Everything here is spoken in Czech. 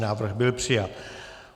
Návrh byl přijat.